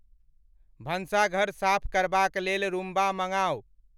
भंषाघर साफ करबाक लेल रूमबा मंगाऊ